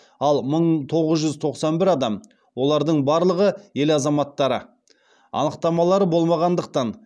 ал мың тоғыз жүз тоқсан бір адам олардың барлығы ел азаматтары анықтамалары болмағандықтан